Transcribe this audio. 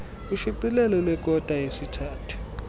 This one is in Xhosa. ushicilelo lwekota yesithathu